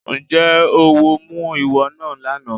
Ǹjẹ́ oówo mú ìwọ náà lánàá?